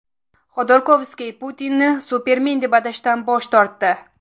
Xodorkovskiy Putinni supermen deb atashdan bosh tortdi.